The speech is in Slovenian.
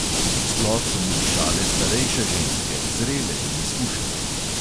Sploh so mu dišale starejše ženske, zrele in izkušene.